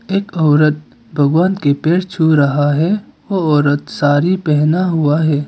एक औरत भगवान के पैर छू रहा है ओ औरत साड़ी पहना हुआ है।